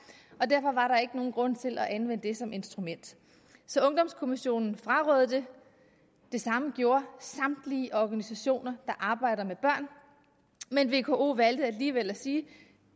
er ikke nogen grund til at anvende det som instrument så ungdomskommissionen frarådede det det samme gjorde samtlige organisationer der arbejder med børn men vko valgte alligevel at sige